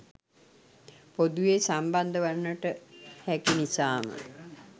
පොදුවේ සම්බන්ධ වන්නට හැකි නිසාම